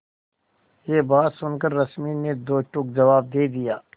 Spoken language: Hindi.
यह बात सुनकर रश्मि ने दो टूक जवाब दे दिया